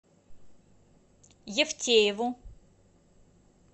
евтееву